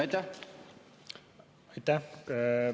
Aitäh!